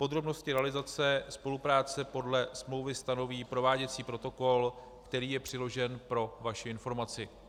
Podrobnosti realizace spolupráce podle smlouvy stanoví prováděcí protokol, který je přiložen pro vaši informaci.